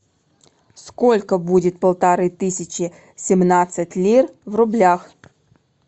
сколько будет полторы тысячи семнадцать лир в рублях